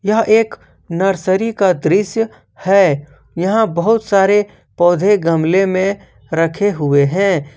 यह एक नर्सरी का दृश्य है यहां बहुत सारे पौधे गमले में रखे हुए हैं।